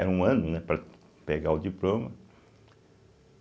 Era um ano, né para pegar o diploma.